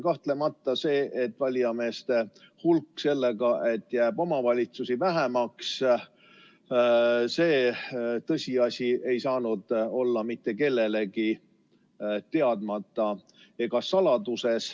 Kahtlemata see, et valijameeste hulk jääb omavalitsuste vähendamise tõttu väiksemaks, see tõsiasi ei saanud olla mitte kellelegi teadmata ega saladuses.